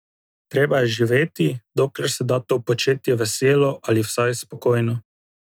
Treba je živeti, dokler se da to početi veselo ali vsaj spokojno.